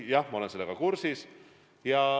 Jah, ma olen sellega kursis.